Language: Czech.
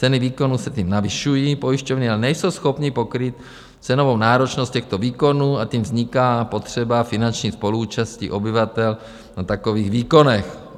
Ceny výkonů se tím navyšují, pojišťovny ale nejsou schopny pokrýt cenovou náročnost těchto výkonů a tím vzniká potřeba finanční spoluúčasti obyvatel na takových výkonech.